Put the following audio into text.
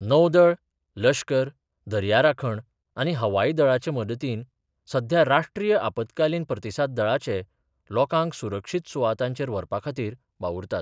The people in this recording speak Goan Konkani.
नौदळ, लश्कर, दर्या राखण, आनी हवाई दळाच्या मदतीन सध्या राष्ट्रीय आपतकालीन प्रतिसाद दळाचे लोकांक सुरक्षीत सुवातांचेर व्हरपा खातीर वावुरतात.